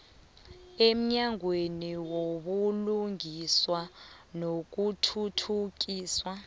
emnyangweni wobulungiswa nokuthuthukiswa